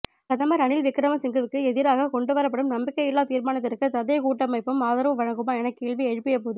பிரதமர் ரணில் விக்கிரமசிங்கவுக்கு எதிராக கொண்டுவரப்படும் நம்பிக்கையில்லா தீர்மானத்திற்கு ததேகூட்டமைப்பும் ஆதரவு வழங்குமா எனக் கேள்வி எழுப்பிய போது